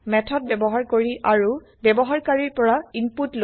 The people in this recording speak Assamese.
মেথড ব্যৱহাৰ কৰি আৰু ব্যৱহাৰকাৰিৰ পৰা ইনপুত লৈ